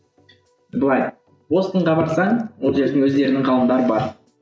былай бостонға барсаң ол жердің өздерінің ғалымдары бар